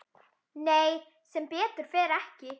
Nei sem betur fer ekki.